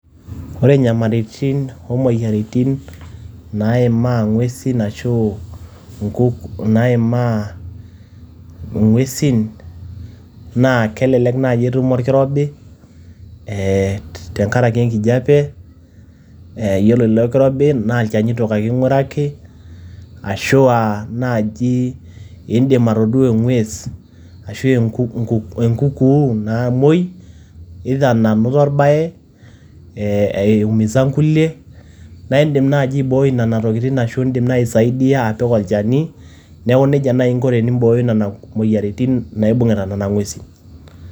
Ore inyamaritin o moyiaritin naimaa ng`uesin ashu naimaa ng`uesin naa kelelek naaji etum olkirobi tenkaraki ee enkijape. Yiolo ilo kirobi naa ilchanitok ake iguraki ashua aa naaji iidim atodua e ng`ues ashu enkunkuu namuoi, either nanoto olbae ee eumisa nkulie. Naa idim naaji aiboi nena tokitin ashu idim naaji aisaidia apik olchani niaku nejia naaji inko tenibooyo nena moyiaritin naibung`ita nena ng`uesin.